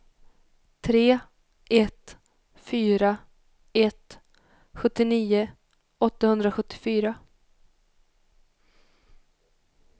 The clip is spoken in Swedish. tre ett fyra ett sjuttionio åttahundrasjuttiofyra